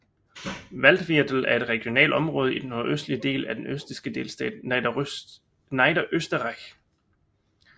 Waldviertel er et regionalt område i den nordvestlige del af den østrigske delstat Niederösterreich